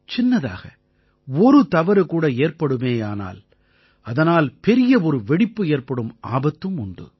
சின்னதாக ஒரு தவறு கூட ஏற்படுமேயானால் அதனால் பெரிய ஒரு வெடிப்பு ஏற்படும் ஆபத்தும் உண்டு